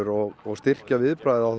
og og styrkja viðbragðið á